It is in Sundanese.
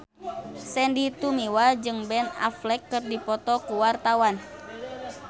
Sandy Tumiwa jeung Ben Affleck keur dipoto ku wartawan